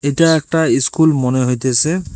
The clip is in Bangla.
এইটা একটা ইস্কুল মনে হইতেসে।